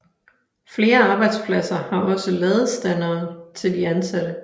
Flere arbejdspladser har også ladestandere til de ansatte